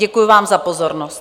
Děkuju vám za pozornost.